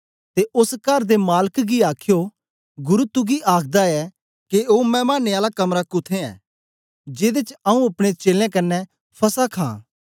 ते ओस कर दे मालक गी आखयो गुरु तुगी आखदा ऐ के ओ मैमाने आला कमरा कुत्थें ऐ जेदे च आऊँ अपने चेलें कन्ने फसह खां